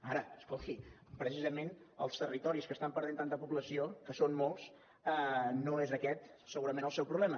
ara escolti precisament als territoris que estan perdent tanta població que són molts no és aquest segurament el seu problema